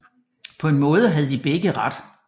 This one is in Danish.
Paa en Maade havde de begge Ret